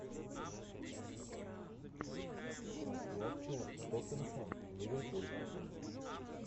трансляция тоттенхэм ливерпуль